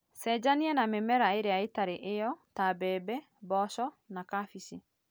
Cenjania na mĩmera ĩrĩa bĩtarĩ mĩmera ĩyo, ta mbembe, mboco na cabici.